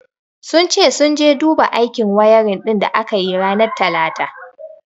Sun ce sun je su duba aikin wayarin din da aka yi ranar talata.